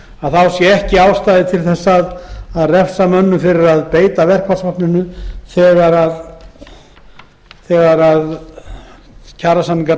beita verkfallsvopninu sé ekki ástæða til að refsa mönnum fyrir að gera það þegar kjarasamningar